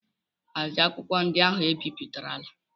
Hazie akwụkwọ ndị ahụ e bipụtarala!